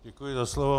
Děkuji za slovo.